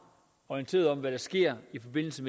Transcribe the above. orienteret om hvad der sker i forbindelse